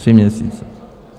Tři měsíce.